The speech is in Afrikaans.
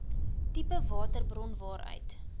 tipe waterhulpbron waaruit